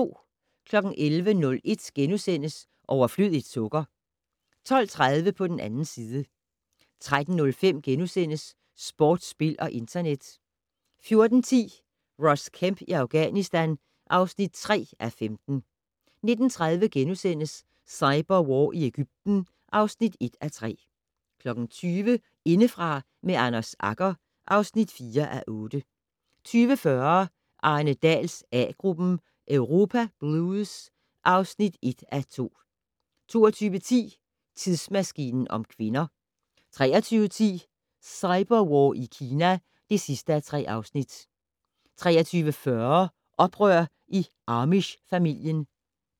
11:01: Overflødigt sukker * 12:30: På den 2. side 13:05: Sport, spil og internet * 14:10: Ross Kemp i Afghanistan (3:5) 19:30: Cyberwar i Egypten (1:3)* 20:00: Indefra med Anders Agger (4:8) 20:40: Arne Dahls A-gruppen: Europa blues (1:2) 22:10: Tidsmaskinen om kvinder 23:10: Cyberwar i Kina (3:3) 23:40: Oprør i amish-familien